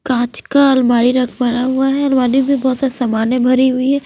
काच का अलमारी रख भरा हुआ है अलमारी भी बहोत सामान से भरी हुई है।